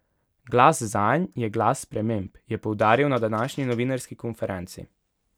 Glas zanj je glas sprememb, je poudaril na današnji novinarski konferenci.